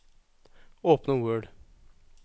Åpne Word